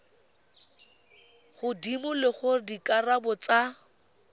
godimo le gore dikarabo tsa